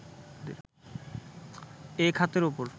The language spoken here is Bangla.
এ খাতের ওপর